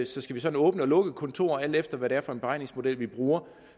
så skal vi sådan åbne og lukke kontorer alt efter hvad det er for en beregningsmodel vi bruger